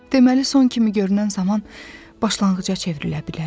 Deməli, son kimi görünən zaman başlanğıca çevrilə bilərmiş.